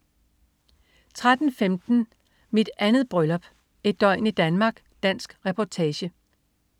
13.15 Mit 2. bryllup. Et døgn i Danmark. Dansk reportage